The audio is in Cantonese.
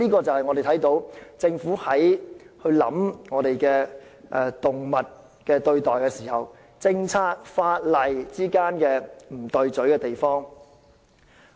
這是政府在考慮動物權益時政策和法例之間不協調的地方。